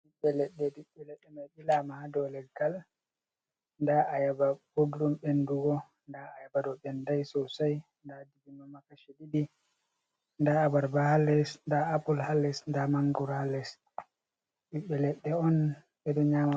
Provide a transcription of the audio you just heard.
Ɓïɓɓe ledɗéh, ɓibɓe leddé man ɓilama ha ɗaù léggal da ayaba ɓurdum ɓendugo da ayabado béndai sosai dibino ma kashi ɗiɗi, da abarba hà lés da apul hà lés da mangoro ha lés. Ɓibbe leɗde on bédo nyama.